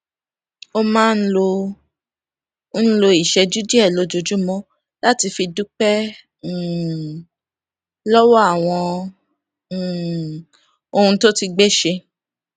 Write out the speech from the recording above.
ó máa ń lo ń lo ìṣéjú díè lójoojúmó láti fi dúpé um lówó àwọn um ohun tó ti gbé ṣe